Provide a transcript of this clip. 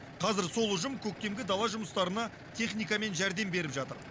қазір сол ұжым көктемгі дала жұмыстарына техникамен жәрдем беріп жатыр